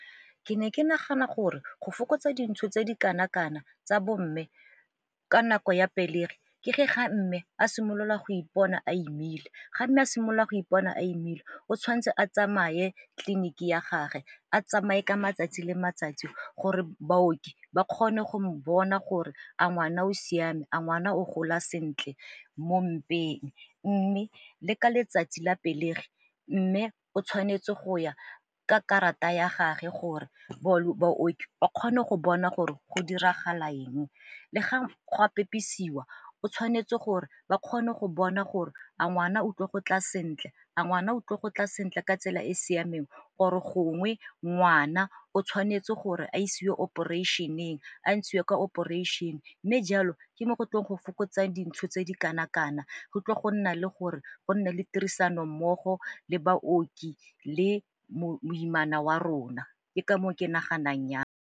Ke ne ke nagana gore go fokotsa dintsho tse di kana-kana tsa bo mme ka nako ya pelegi ke ge ga mme a simolola go ipona a imile. Ga mme a simolola go ipona a imile o tshwanetse a tsamaye tleliniki ya gage a tsamaye ka matsatsi le matsatsi gore baoki ba kgone go bona gore a ngwana o siame, a ngwana o gola sentle mo malapeng. Mme le ka letsatsi la pelegi mme o tshwanetse go ya ka karata ya gage gore baoki ba kgone go bona gore go diragala eng, le go a pepisiwa o tshwanetse gore ba kgone go bona gore a ngwana otlo go tla sentle, a ngwana utlwe go tla sentle ka tsela e e siameng or-o e gongwe ngwana o tshwanetse gore a isiwe operation-eng, a ntshiwe kwa operation-e mme jalo ke mo go tlo go fokotsa dintsho tse di kana-kana, go tlile go nna le gore go nne le tirisanommogo le baoki le moimana wa rona, ke ka moo ke naganang ya.